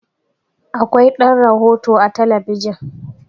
Akwai ɗan rohoto a talabijin